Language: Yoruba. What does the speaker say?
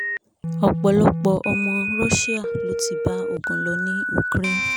ọ̀pọ̀lọpọ̀ ọmọ ogun russia ló ti bá ogun lọ ní ukraine